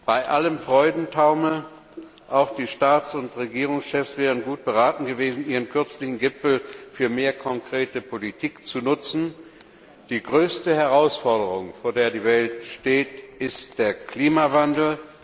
Bei allem Freudentaumel auch die Staats und Regierungschefs wären gut beraten gewesen, ihren kürzlichen Gipfel für mehr konkrete Politik zu nutzen. Die größte Herausforderung, vor der die Welt steht, ist der Klimawandel.